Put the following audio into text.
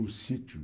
Um sítio.